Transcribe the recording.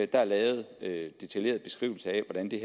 der er lavet detaljerede beskrivelser af hvordan det